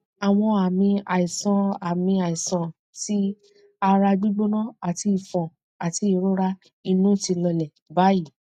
awon ami aisan ami aisan ti ara gbigbona ati ifon ati irora inu ti lole bayi